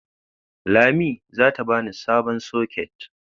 Lami zata bani sabon soket.